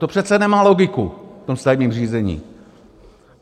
To přece nemá logiku v tom stavebním řízení.